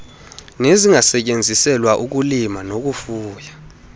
nezungasetyenziselwa ukulima nokufuya